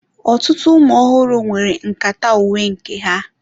Ọtụtụ ụmụ ọhụrụ nwere nkata uwe nke ha.